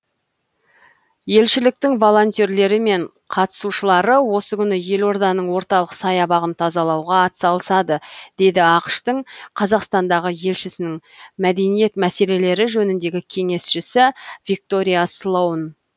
елшіліктің волентерлері мен қатысушылары осы күні елорданың орталық саябағын тазалауға атсалысады деді ақш тың қазақстандағы елшісінің мәдениет мәселелері жөніндегі кеңесшісі виктория слоун